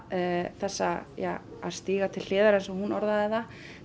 þessa ja að stíga til hliðar eins og hún orðaði það